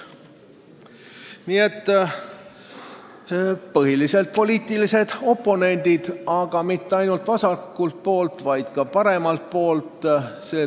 Nii et põhiliselt olid kõige taga poliitilised oponendid, ja mitte ainult vasakult poolt, vaid ka paremalt poolt.